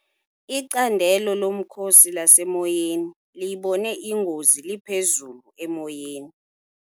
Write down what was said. Icandelo lomkhosi lasemoyeni liyibone ingozi liphezulu emoyeni.